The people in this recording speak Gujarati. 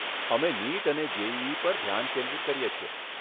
અમે નિટ અને જેઈઈ પર ધ્યાન કેન્દ્રિત કરીએ છીએ.